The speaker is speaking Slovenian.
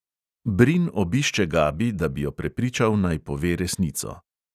Brin obišče gabi, da bi jo prepričal, naj pove resnico.